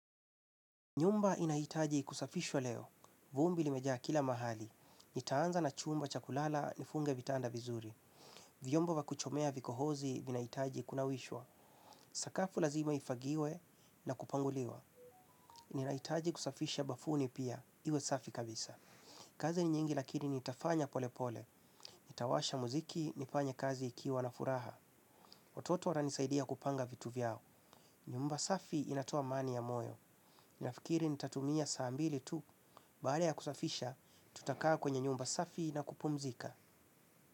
Nyumba inahitaji kusafishwa leo. Vumbi limejaa kila mahali. Nitaanza na chumba cha kulala nifunge vitanda vizuri. Vyombo vya kuchomea vikohozi vinahitaji kunawishwa. Sakafu lazima ifagiwe na kupanguliwa. Ninahitaji kusafisha bafuni pia. Iwe safi kabisa. Kazi ni nyingi lakini nitafanya pole pole. Nitawasha muziki, nifanye kazi ikiwa na furaha. Watoto wananisaidia kupanga vitu vyao. Nyumba safi inatoa amani ya moyo. Ninafikiri nitatumia saa mbili tu. Baada ya kusafisha, tutakaa kwenye nyumba safi na kupumzika.